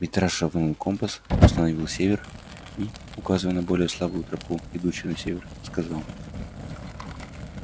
митраша вынул компас установил север и указывая на более слабую тропу идущую на север сказал